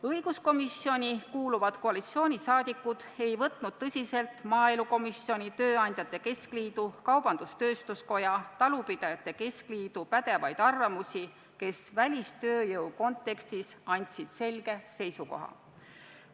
Õiguskomisjoni kuuluvad koalitsiooniliikmed ei suhtunud tõsiselt ei maaelukomisjoni, tööandjate keskliidu, kaubandus-tööstuskoja ega talupidajate keskliidu pädevatesse arvamustesse, mis sisaldasid välistööjõu kontekstis selgeid seisukohti.